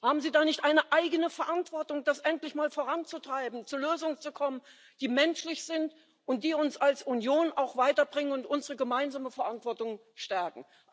Haben Sie da nicht eine eigene Verantwortung, das endlich mal voranzutreiben, zu Lösungen zu kommen, die menschlich sind und die uns als Union weiterbringen und unsere gemeinsame Verantwortung stärken?